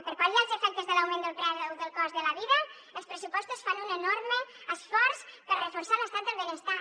per pal·liar els efectes de l’augment del preu del cost de la vida els pressupostos fan un enorme esforç per reforçar l’estat del benestar